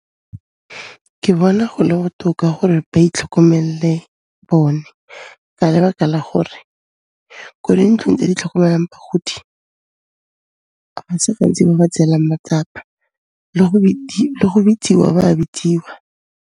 Ke bona gole botoka gore ba itlhokomelle bone ka lebaka la gore kwa dintlong e di tlhokomelang bagodi, ga se gantsi ba ba tseelang matsapa le go bitsiwa, ba bitsiwa.